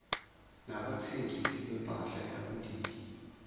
nabathengisi bempahla yakuleli